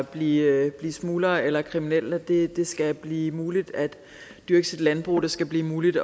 blive smuglere eller kriminelle det skal blive muligt at dyrke sit landbrug det skal blive muligt